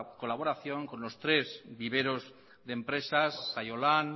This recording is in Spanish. colaboración con los tres viveros de empresas saiolan